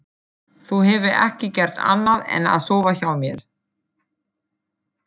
Þú hefur ekki gert annað en að sofa hjá mér.